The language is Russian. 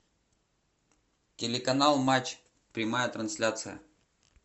телеканал матч прямая трансляция